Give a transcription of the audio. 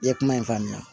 I ye kuma in faamuya